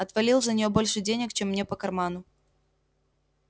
отвалил за нее больше денег чем мне по карману